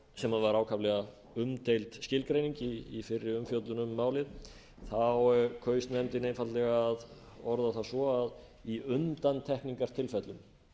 sem var ákaflega umdeild skilgreining í fyrri umfjöllun um málið kaus nefndin einfaldlega að orða það svo að í undantekningartilfellum